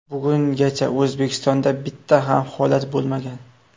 Bugungacha O‘zbekistonda bitta ham holat bo‘lmagan.